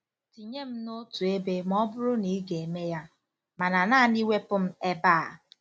"Tinye m n'otu ebe ma ọ bụrụ na ị ga-eme ya, mana naanị wepụ m ebe a!"